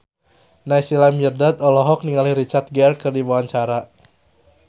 Naysila Mirdad olohok ningali Richard Gere keur diwawancara